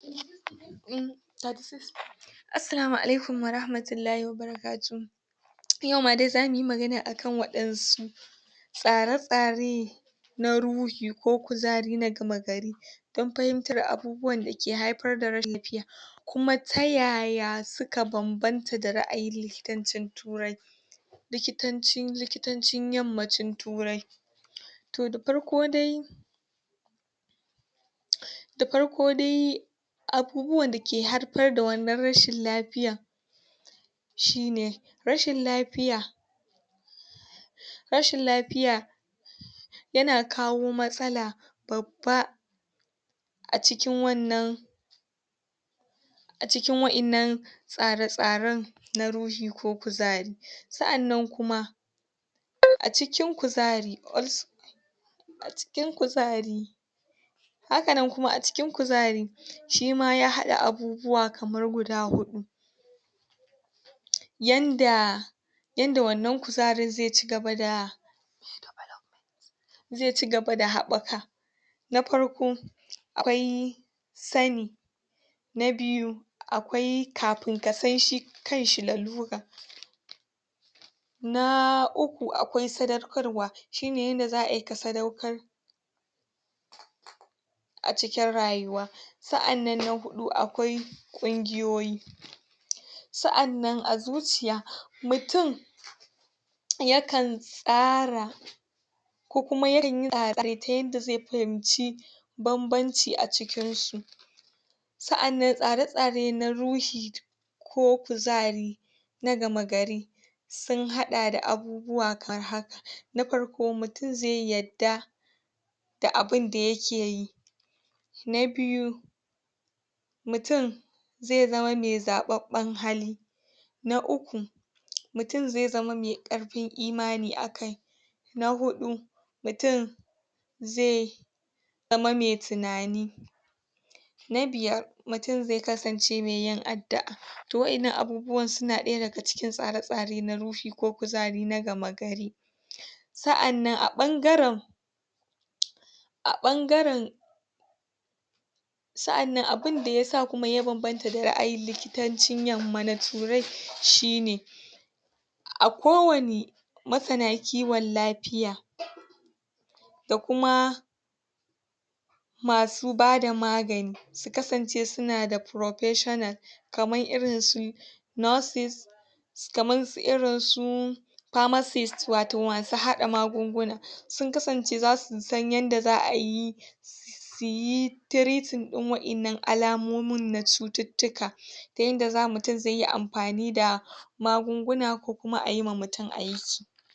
Assalamu alaikum warahmatullah wabarakuhu Yau ma dai za mu yi magana a kan waɗansu tsare-tsare na ruhi ko kuzari na gama gari don fahimtar abubuwan da ke haifar da rashin lafiya. kuma ta ya ya suka banbanta da ra'ayin likitancin Turai. Likitancin, likitancin yammacin Turai. To da farko dai, da farko dai abubuwan da ke haifar da wannan rashin lafiyar shi ne, rashin lafiya Rashin lafiya yana kawo matsala babba a cikin wannan a cikin wa'innan tsare-tsaren na ruhi ko kuzari. sa'annan kuma a cikin kuzari a cikin kuzari Hakanan kuma a cikin kuzari shi ma ya haɗa abubuwa kamar guda huɗu. yan da yan da wannan kuzarin zai ci gaba da zai ci gaba da haɓaka. na farko, akwai sani, na biyu a kwai kafin ka san shi kan shi lalura na uku akwai sadaukarwa shi ne yadda za ai ka sadaukar a cikin rayuwa. sa'an nan na huɗu akwai ƙungiyoyi sa'an nan a zuciya mutum yakan tsara ko kuma ya kan yi ta yanda zai fahimci bambanci a cikinsu. sa'an nan tsare tsare na ruhi, ko kuzari na gama gari sun haɗa da abubuwa kamar haka na farko mutum zai yarda da abinda yake yi. na biyu, mutum zai zama mai zaɓaɓɓen hali na uku mutum zai zama mai ƙarfin imani a kai na huɗu mutum zai zai zama mai tunani na biyar mutum zai kasance mai yin addu'a ta waɗannan abubuwan suna ɗaya daga cikin tsare-tsare na ruhi ko kuzari na game gari. Sa'an nan a ɓangaren a ɓangaren sa'an nan abin da ya sa kuma ya banbanta da ra'ayin likitancin yamma na Turai shi ne, a kowane Masana kiwon lafiya da kuma masu ba da magani su kasance suna da "Pofessional" kamar irinsu Nurses kamarsu irinsu Pharmarcist wato masu haɗa magunguna sun kasance za su san yadda za a yi su yi treating ɗin waɗannan alamomin na cututtuka ta yanda mutum zai yi amfani da magunguna ko kuma ayi wa mutum aiki